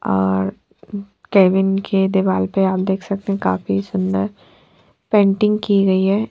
और केबिन के दिवार पर हम देख सकते है काफी सुन्दर पेंटिंग की गयी है।